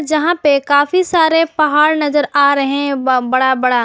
जहां पे काफी सारे पहाड़ नजर आ रहे हैं व बड़ा बड़ा।